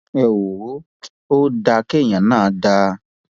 ẹ wò ó ò dáa kí èèyàn náà dáa